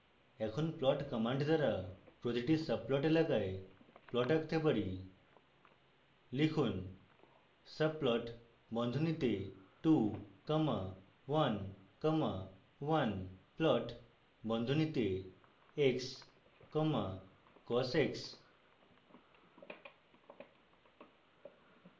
এখন plot command দ্বারা প্রতিটি subplot এলাকায় plots আঁকতে পারি